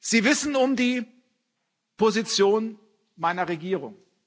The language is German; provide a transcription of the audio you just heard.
Sie wissen um die Position meiner Regierung.